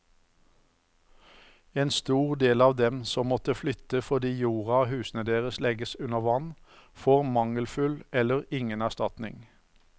En stor del av dem som må flyttes fordi jorda og husene deres legges under vann, får mangelfull eller ingen erstatning.